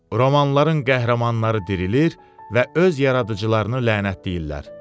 Romanların qəhrəmanları dirilir və öz yaradıcılarını lənətləyirlər.